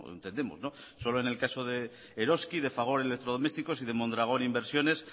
entendemos solo en el caso de eroski de fagor electrodomésticos y de mondragón inversiones